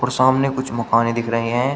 सामने कुछ मकाने दिख रहे हैं।